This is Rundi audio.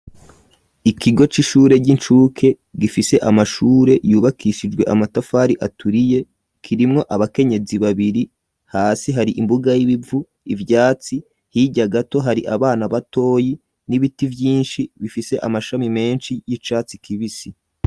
Ikigo c'ishure ry'incuke gifise amashure yubakishijwe amatafari aturiye ,kirimwo abakenyezi babiri, hasi hari imbuga y'ibivu ivyatsi hirya gato hari abana batoyi n'ibiti vyinshi bifise amashami menshi y'icatsi kibisi.